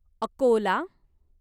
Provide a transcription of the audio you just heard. Akola